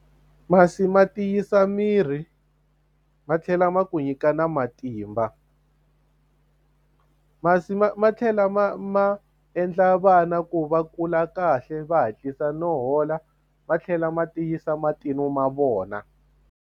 Masi ma tiyisa miri ma tlhela ma ku nyika na matimba masi ma ma tlhela ma ma endla vana ku va kula kahle va hatlisa no hola ma tlhela ma tiyisa ma vona.